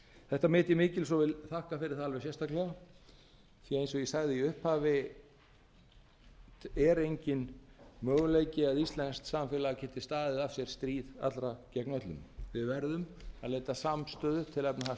þetta met ég mikils og vil þakka fyrir það alveg sérstaklega því eins og ég sagði í upphafi er enginn möguleiki að íslenskt samfélag geti staðið af sér stríð allra gegn öllum við verðum að leita samstöðu til